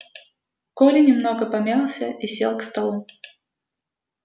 коля немного помялся и сел к столу